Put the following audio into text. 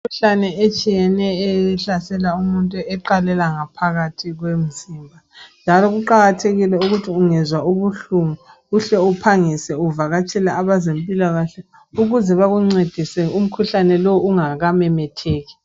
Imikhuhlane etshiyeneyo. Ehlasela umuntu, eqalela ngaphakathi komzimba. Njalo kuqakathekile ukuthi ungezwa ubuhlungu. Uhle uvakatshele abezempilakahle. Bakuncedise, umkhuhlane lowo, ungakamemetheki.